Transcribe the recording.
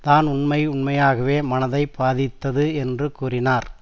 தான் உண்மை உண்மையாகவே மனதை பாதித்தது என்று கூறினார்